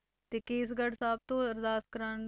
ਤੇ ਕੇਸਗੜ੍ਹ ਸਾਹਿਬ ਤੋਂ ਅਰਦਾਸ ਕਰਵਾਉਣ,